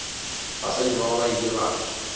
basadi bao ba ile ba